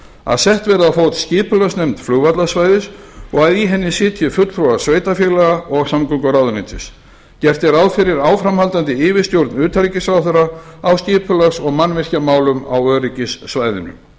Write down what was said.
að sett verði á fót skipulagsnefnd flugvallarsvæðisins og að í henni sitji fulltrúar sveitarfélaga og samgönguráðuneytis gert er ráð fyrir áframhaldandi yfirstjórn utanríkisráðherra í skipulags og mannvirkjamálum á öryggissvæðinu